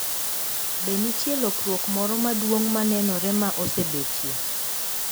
Be nitie lokruok moro maduong` manenore ma osebetie?